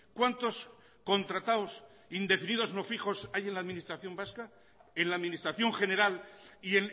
cuántos contratados indefinidos no fijos hay en la administración vasca en la administración general y